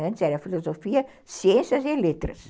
Antes era a Filosofia, Ciências e Letras.